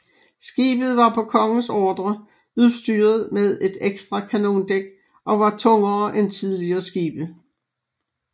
Skibet var på kongens ordre udstyret med et ekstra kanondæk og var tungere end tidligere skibe